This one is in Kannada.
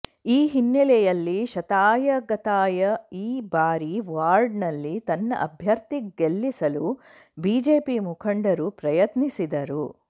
ಈ ಹಿನ್ನೆಲೆಯಲ್ಲಿ ಶತಾಯಗತಾಯ ಈ ಬಾರಿ ವಾರ್ಡ್ ನಲ್ಲಿ ತನ್ನ ಅಭ್ಯರ್ಥಿ ಗೆಲ್ಲಿಸಲು ಬಿಜೆಪಿ ಮುಖಂಡರು ಪ್ರಯತ್ನಿಸಿದ್ದರು